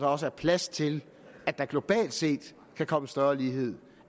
også er plads til at der globalt set kan komme større lighed